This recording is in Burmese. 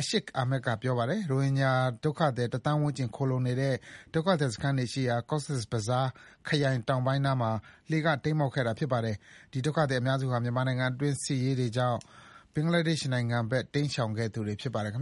Ashiq Ahmed က ပြောပါတယ်။ ရိုဟင်ဂျာဒုက္ခသည် တသန်းဝန်းကျင် ခိုလှုံနေတဲ့ ဒုက္ခသည်စခန်းတွေရှိရာ Cox's Bazar ခရိုင် တောင်ပိုင်းနားမှာ လှေက တိမ်းမှောက်ခဲ့တာပါ။ ဒီ ဒုက္ခသည်အများစုဟာ မြန်မာနိုင်ငံတွင်း စစ်ဆင်ရေးတွေကြောင့် ဘင်္ဂလားဒေ့ရှ်နိုင်ငံဘက် တိမ်းရှောင်ခဲ့သူတွေဖြစ်ပါတယ်။ ဘင်္